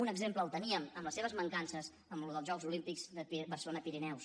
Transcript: un exemple el teníem amb les seves mancances en allò dels jocs olímpics de barcelona pirineus